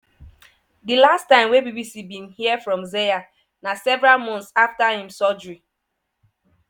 di last time wey bbc bin hear from zeya na several months afta im surgery.